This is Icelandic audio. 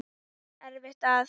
Eftir að